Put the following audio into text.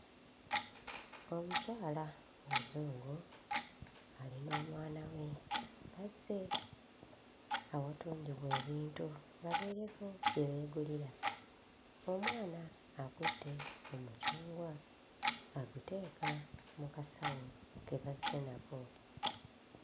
Omukyala omuzungu ali n'omwana we bazze awatundibwa ebintu babeereko bye beegulira, omwana akutte omucungwa aguteeka mu kasawo ke bazze nako.